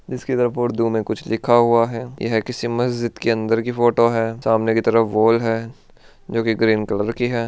इसकी तरफ उर्दू में कुछ लिखा हुआ है यह किस मस्जिद के अंदर की फोटो है सामने की तरफ वॉल है जो कि ग्रीन कलर की है।